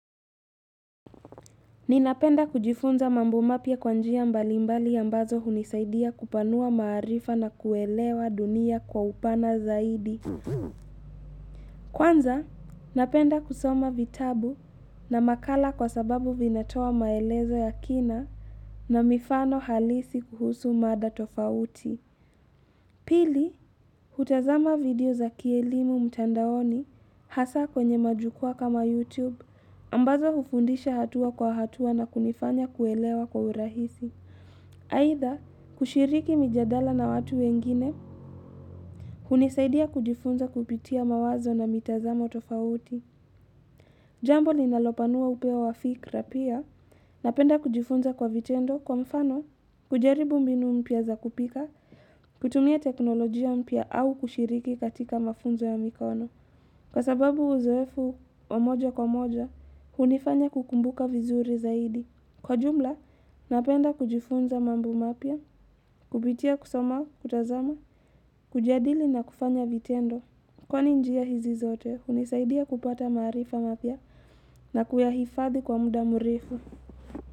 Ninapenda kujifunza mambo mapya kwa njia mbalimbali ambazo hunisaidia kupanua maarifa na kuelewa dunia kwa upana zaidi. Kwanza, napenda kusoma vitabu na makala kwa sababu vinatoa maelezo ya kina na mifano halisi kuhusu mada tofauti. Pili, hutazama video za kielimu mtandaoni hasa kwenye majukwaa kama YouTube, ambazo hufundisha hatua kwa hatua na kunifanya kuelewa kwa urahisi. Aithaa, kushiriki mijadala na watu wengine, hunisaidia kujifunza kupitia mawazo na mitazamo tofauti. Jambo linalopanua upeo wa fikra pia, napenda kujifunza kwa vitendo kwa mfano, kujaribu mbinu mpya za kupika, kutumia teknolojia mpy au kushiriki katika mafunzo ya mikono Kwa sababu uzoefu wa moja kwa moja, hunifanya kukumbuka vizuri zaidi Kwa jumla, napenda kujifunza mambo mapya, kupitia kusoma, kutazama, kujadili na kufanya vitendo Kwa ni njia hizi zote, hunisaidia kupata maarifa mapya na kuyahifadhi kwa muda mrefu.